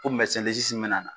O min bɛna na,